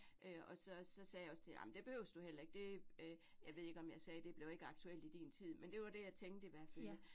Øh og så så sagde jeg også til hende, ej men det behøves du heller ikke, det øh jeg ved ikke om jeg sagde, det bliver ikke aktuelt i din tid, men det var det jeg tænkte i hvert fald